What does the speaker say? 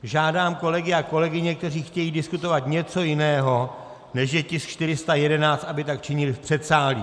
Žádám kolegy a kolegyně, kteří chtějí diskutovat něco jiného, než je tisk 411, aby tak činili v předsálí.